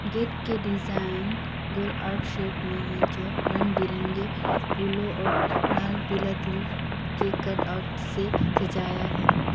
Gate के design गोल आर शेप में है जो रंग बिरंगे फूलों और लाल पीला दिल के कट आउट से सजाया है।